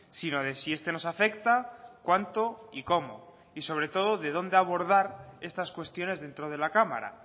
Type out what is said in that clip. sino de si este nos afecta cuánto y cómo y sobre todo de dónde abordar estas cuestiones dentro de la cámara